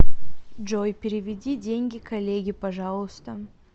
джой переведи деньги коллеге пожалуйста